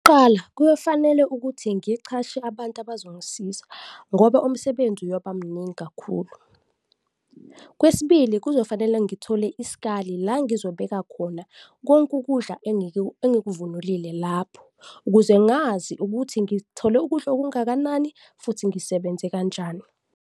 Kuqala, kuyofanele ukuthi ngiqashe abantu abazongisiza ngoba umsebenzi uyoba mningi kakhulu. Kwesibili, kuzofanele ngithole isikali, la ngizobeka khona konke ukudla engikuvunulile lapho ukuze ngazi ukuthi ngithole ukudla okungakanani futhi ngisebenze kanjani.